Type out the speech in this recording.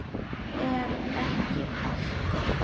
Er ekki allt gott?